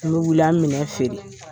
An be wuli, an be minɛn feere.